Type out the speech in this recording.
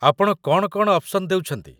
ଆପଣ କ'ଣ କ'ଣ ଅପ୍‌ସନ୍ ଦେଉଛନ୍ତି ?